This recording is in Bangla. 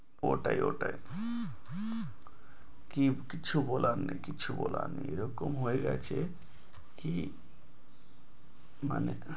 ওটাই ওটাই কি কিচ্ছু বলার নেই কিচ্ছু বলার নেই এইরকম হয়ে গেছে কি মানে